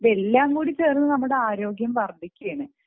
ഇതെല്ലാം ചേർന്ന് നമ്മുടെ ആരോഗ്യം വർധിക്കുകയാണ്